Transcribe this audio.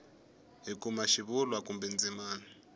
hi kuma xivulwa kumbe ndzimana